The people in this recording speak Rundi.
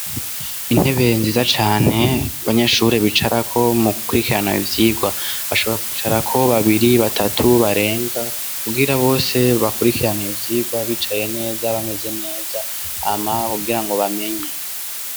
Intebe nziza cane abanyeshuri bicarako mugukurikirana ivyigwa, bashobora kwicarako babiri, batatu barenga kugira bose bakurikirane ivyigwa bicaye neza bameze neza hama kugirango bamenye.